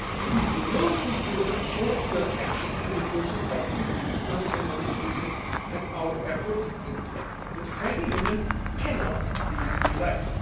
is essential. It is the most important short term action in the process of deepening economic and monetary union and our efforts towards the banking union cannot